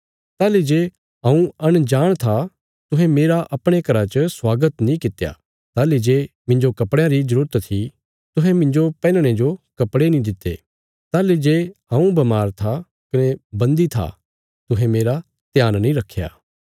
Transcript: ताहली जे हऊँ अंजाण था तुहें मेरा अपणे घरा च स्वागत नीं कित्या ताहली जे मिन्जो कपड़यां री जरूरत थी तुहें मिन्जो पैहनणे जो कपड़े नीं दित्ते ताहली जे हऊँ बमार था कने बन्दी था तुहें मेरा ध्यान नीं रखया